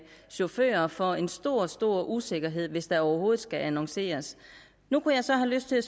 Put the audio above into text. chauffører for en stor stor usikkerhed hvis der overhovedet skal annonceres nu kunne jeg så have lyst til at